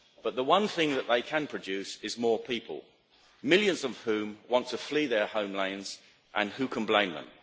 But the one thing that they can produce is more people, millions of whom want to flee their homelands, and who can blame them?